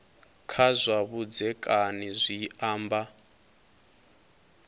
kha zwa vhudzekani zwi amba